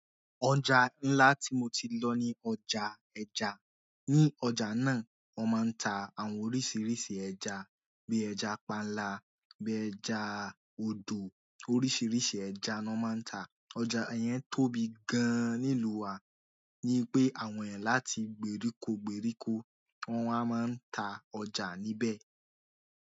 Ọjà ńlá ti mo ti lo ni ọjà ẹja ni ọjà náà, wọ́n máa ń ta àwọn oríṣiríṣi ẹja bí ẹja panla, bí ẹja odò. Oríṣiríṣi ẹja ni wọ́n máa ń ta. Ọjà yẹn tóbi gan-an nílùú wa, ní pé àwọn ẹ̀yàn láti gbèríko gbèríko, wọ́n a máa ń ta ọjà níbẹ̀.